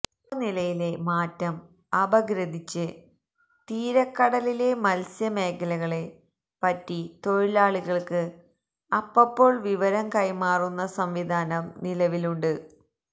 താപനിലയിലെ മാറ്റം അപഗ്രഥിച്ച് തീരക്കടലിലെ മത്സ്യ മേഖലകളെ പറ്റി തൊഴിലാളികൾക്ക് അപ്പപ്പോൾ വിവരം കൈമാറുന്ന സംവിധാനം നിലവിലുണ്ട്